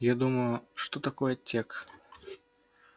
я думаю что такое тёк